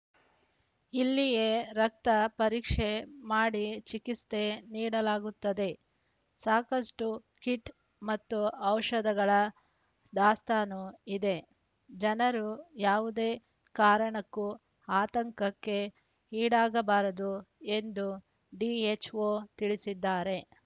ಇಲ್ಲಿಯೇ ರಕ್ತ ಪರೀಕ್ಷೆ ಮಾಡಿ ಚಿಕಿಸ್ತೆ ನೀಡಲಾಗುತ್ತದೆ ಸಾಕಷ್ಟುಕಿಟ್‌ ಮತ್ತು ಔಷಧಗಳ ದಾಸ್ತಾನು ಇದೆ ಜನರು ಯಾವುದೇ ಕಾರಣಕ್ಕೂ ಆತಂಕಕ್ಕೆ ಈಡಾಗಬಾರದು ಎಂದು ಡಿಎಚ್‌ಒ ತಿಳಿಸಿದ್ದಾರೆ